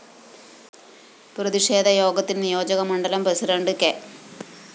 പ്രതിഷേധയോഗത്തില്‍ നിയോജക മണ്ഡലം president K